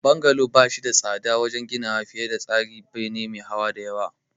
Bungalow ba shi da tsada wajen ginawa fiye da tsarin bene me hawa da yawa.